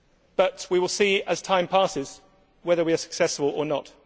But we will see as time passes whether we are successful or not.